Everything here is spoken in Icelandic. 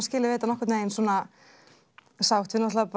skilið við þetta nokkurn veginn sátt við náttúrulega